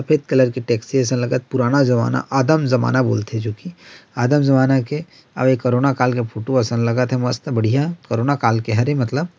सफ़ेद कलर की टैक्सी असन लगत पुराना जमाना आदम जमाना बोलथे जो कि आदम जमाना के अउ कोरोना काल के फोटो असन लगत हे मस्त बढ़िया कोरोना काल के हरे मतलब--